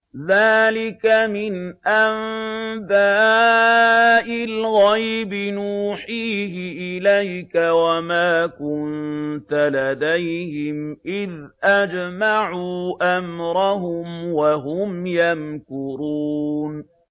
ذَٰلِكَ مِنْ أَنبَاءِ الْغَيْبِ نُوحِيهِ إِلَيْكَ ۖ وَمَا كُنتَ لَدَيْهِمْ إِذْ أَجْمَعُوا أَمْرَهُمْ وَهُمْ يَمْكُرُونَ